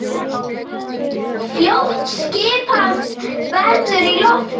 Fljótt skipast veður í lofti.